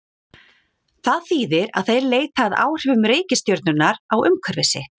Það þýðir að þeir leita að áhrifum reikistjörnunnar á umhverfi sitt.